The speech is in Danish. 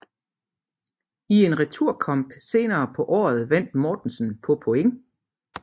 I en returkamp senere på året vandt Mortensen på point